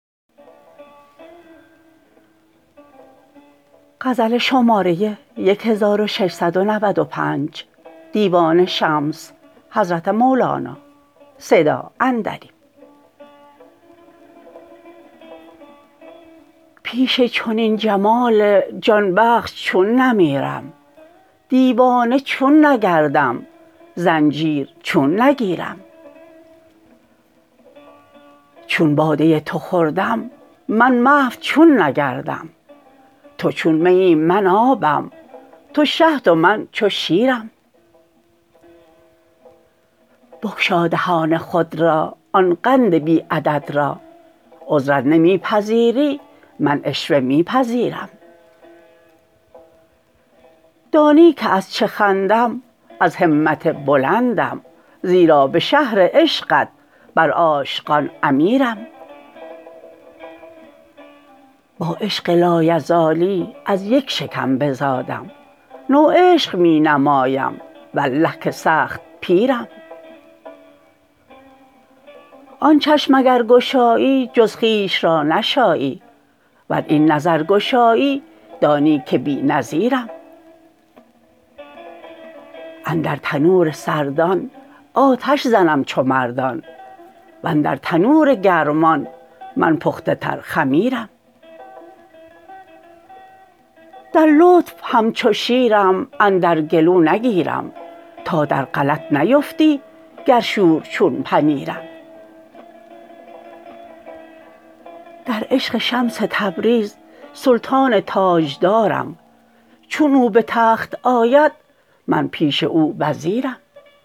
پیش چنین جمال جان بخش چون نمیرم دیوانه چون نگردم زنجیر چون نگیرم چون باده تو خوردم من محو چون نگردم تو چون میی من آبم تو شهد و من چو شیرم بگشا دهان خود را آن قند بی عدد را عذر ار نمی پذیری من عشوه می پذیرم دانی که از چه خندم از همت بلندم زیرا به شهر عشقت بر عاشقان امیرم با عشق لایزالی از یک شکم بزادم نوعشق می نمایم والله که سخت پیرم آن چشم اگر گشایی جز خویش را نشایی ور این نظر گشایی دانی که بی نظیرم اندر تنور سردان آتش زنم چو مردان و اندر تنور گرمان من پخته تر خمیرم در لطف همچو شیرم اندر گلو نگیرم تا در غلط نیفتی گر شور چون پنیرم در عشق شمس تبریز سلطان تاجدارم چون او به تخت آید من پیش او وزیرم